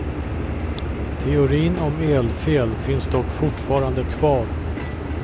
Teorin om elfel finns dock fortfarande kvar.